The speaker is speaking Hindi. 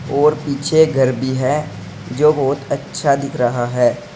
और पीछे घर भी है जो बहुत अच्छा दिख रहा है।